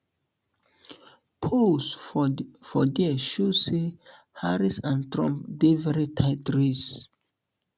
polls for d for dia show say harris and trump dey very tight race